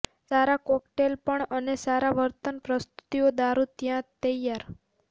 સારા કોકટેલપણ અને સારા વર્તન પ્રસ્તુતિઓ દારૂ ત્યાં તૈયાર